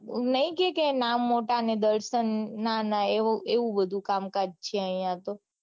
નઈ કે કે નામ મોટા ને દર્શન નાના એવું બધું કામકાજ છે આઇયાંતો